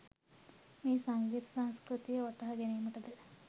මෙය සංගීත සංස්කෘතිය වටහා ගැනීමට ද